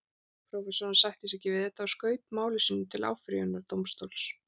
Prófessorinn sætti sig ekki við þetta og skaut máli sínu til áfrýjunardómstóls.